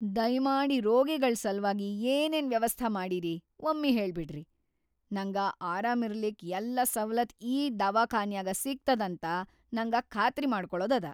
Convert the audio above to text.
ದಯ್ಮಾಡಿ ರೋಗಿಗಳ್‌ ಸಲ್ವಾಗಿ ಏನೇನ್‌ ವ್ಯವಸ್ಥಾ ಮಾಡಿರಿ ವಮ್ಮಿ ಹೇಳ್ಬಿಡ್ರಿ. ನಂಗ ಆರಾಮಿರ್ಲಿಕ್‌ ಯಲ್ಲಾ ಸವಲತ್‌ ಈ ದವಾಖಾನ್ಯಾಗ ಸಿಗ್ತದಂತ ನಂಗ ಖಾತ್ರಿ ಮಾಡ್ಕೊಳದದ.